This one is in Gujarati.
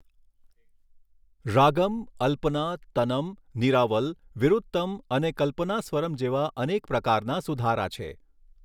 રાગમ, અલ્પના, તનમ, નિરાવલ, વિરુત્તમ અને કલ્પનાસ્વરમ જેવા અનેક પ્રકારના સુધારા છે.